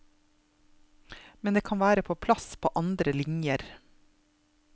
Men det kan være plass på andre linjer.